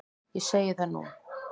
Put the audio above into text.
Ég segi það nú!